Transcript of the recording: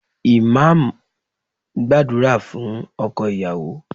Imam ń gbàdúrà fún ọkọ ìyàwó